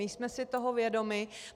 My jsme si toho vědomi.